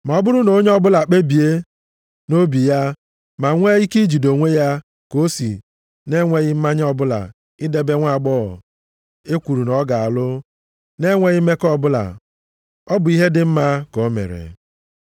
Ma ọ bụrụ na onye ọbụla ekpebie nʼobi ya, ma nwee ike ijide onwe ya, ka o si nʼenweghị mmanye ọbụla idebe nwaagbọghọ e kwuru na ọ ga-alụ na-enweghị mmekọ ọbụla, ọ bụ ihe dị mma ka o mere.